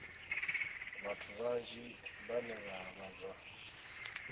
vhathu vhanzhi vhane vha lwadzwa